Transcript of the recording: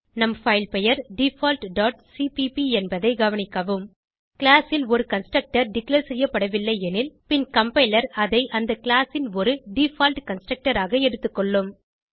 நம் பைல் பெயர் default dot CPP என்பதை கவனிக்கவும் கிளாஸ் ல் ஒரு கன்ஸ்ட்ரக்டர் டிக்ளேர் செய்யப்படவில்லை எனில் பின் கம்பைலர் அதை அந்த கிளாஸ் ன் ஒரு டிஃபால்ட் கன்ஸ்ட்ரக்டர் ஆக எடுத்துக்கொள்ளும்